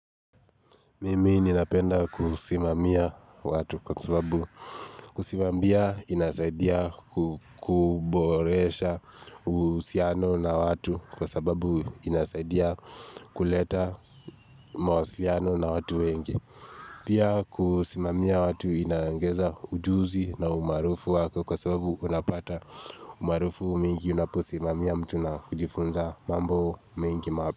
Mimi ninapenda kusimamia watu kwa sababu kusimamia inasaidia kuboresha uhusiano na watu kwa sababu inasaidia kuleta mawasiliano na watu wengi. Pia kusimamia watu inaongeza ujuzi na umaarufu wako kwa sababu unapata umaarufu mingi unaposimamia mtu na kujifunza mambo mengi map.